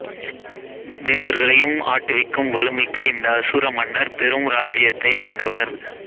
தேவர்களையும் ஆட்டுவிக்கும் வலுமிக்க இந்த அசுர மன்னர் பெரும் இராச்சியத்தை ஆண்டவர்